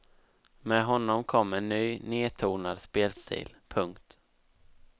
Med honom kom en ny nedtonad spelstil. punkt